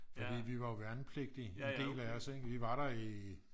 fordi vi var jo værnepligtige en del af os ik. vi var der i